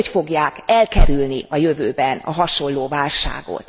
Hogy fogják elkerülni a jövőben a hasonló válságot?